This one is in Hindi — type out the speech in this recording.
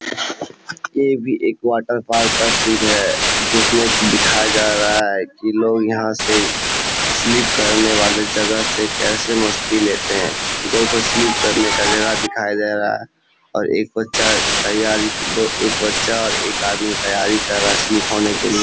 ये भी एक वाटर पार्क का सीन है जिसमें की दिखाया जा रहा है की लोग यहाँ से स्लिप करने वाले जगह से कैसे मस्ती लेते है दोठो स्लिप करने का जगह दिखाई दे रहा है और एक बच्चा तैयारी एक बच्चा और एक आदमी तैयारी कर रहा है स्लिप होने के लिए।